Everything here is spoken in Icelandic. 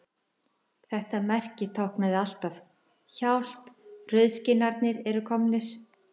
Þetta merki táknaði alltaf: Hjálp, rauðskinnarnir eru komnir